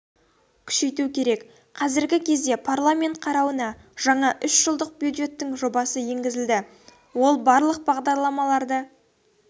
күшейту керек қазіргі кезде парламент қарауына жаңа үш жылдық бюджеттің жобасы енгізілді ол барлық бағдарламаларды